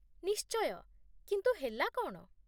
ନିଶ୍ଚୟ, କିନ୍ତୁ ହେଲା କ'ଣ ?